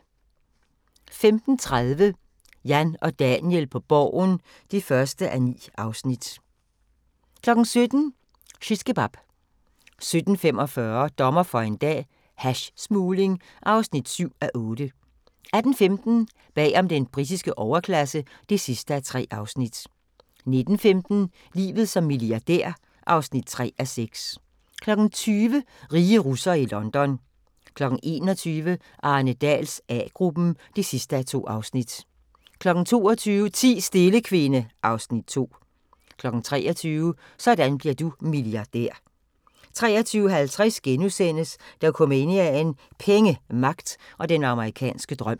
15:30: Jan og Daniel på Borgen (1:9) 17:00: Shishkebab 17:45: Dommer for en dag - hashsmugling (7:8) 18:15: Bag om den britiske overklasse (3:3) 19:15: Livet som milliardær (3:6) 20:00: Rige russere i London 21:00: Arne Dahls A-gruppen (2:2) 22:00: Ti stille, kvinde (Afs. 2) 23:00: Sådan bliver du milliardær 23:50: Dokumania: Penge, magt og den amerikanske drøm *